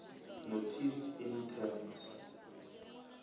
notice in terms